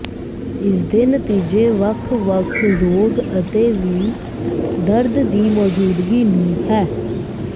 ਇਸ ਦੇ ਨਤੀਜੇ ਵੱਖ ਵੱਖ ਰੋਗ ਅਤੇ ਵੀ ਦਰਦ ਦੀ ਮੌਜੂਦਗੀ ਨੂੰ ਹੈ